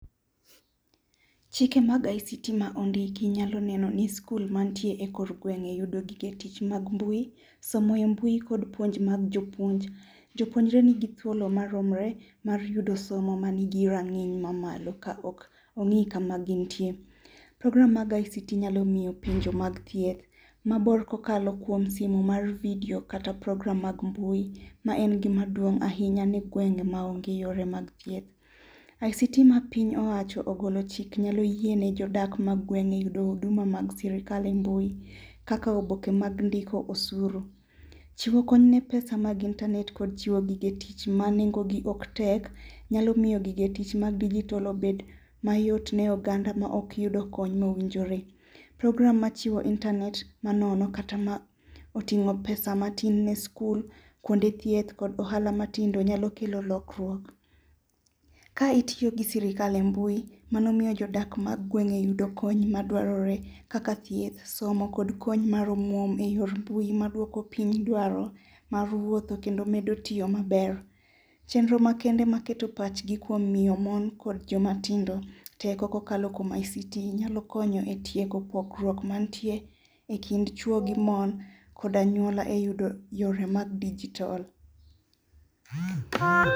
Chike mag ICT ma ondiki nyalo neno ni skul mantie e kor gweng' yudo gige tich mag mbui. Somo e mbui kod puonj mag jopuonj. Jopuonjre ni gi thuolo maromre mar yudo somo ma nigi rang'iny ma malo ka ok ong' kama gintie. Program mag ICT nyalo miyo puonjo mag thieth mabor kokalo kuom simo mar video kata program mag mbui ma en gima duong' ahinya ne gwenge ma onge yore mag thieth. ICT ma piny owacho ogolo chik nyalo yiene jodak mag gweng' e yudo huduma mag sirkal e mbui. Kaka oboke mag ndiko osuru. Chiwo kony ne pesa mag internet kod chiwo gige tich ma nengo gi ok tek nyalomiyo gige tich mag digitol obed mayot ne oganda ma ok yud kony mowinjore. Program machiwo internet manono kata ma oting'o pesa matin ne skul, kuonde thieth kod ohala matindo nyalo kelo lokruok. Ka itiyo gi sirkal e mbui mano miyo jodak mag gweng' e yudo kony madwarore kaka thieth, somo, kod kony mar omuom eyor mbui maduoko piny dwaro mar wuotho kendo medo tiyo maber. Chenro makende maketo pachgi kuom miyo mon kod jomatindo teko kokalo kuom ICT nyalo konyo e tieko pogruok mantie e kind chuo gi mon koda anyuola e yudo yore mag digitol.